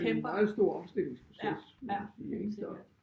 En meget stor omstillingsproces må man sige ik så